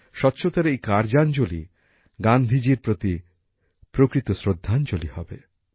স্বচ্ছতার এই কার্যাবলী গান্ধীজীর প্রতি প্রকৃত শ্রদ্ধাঞ্জলি হবে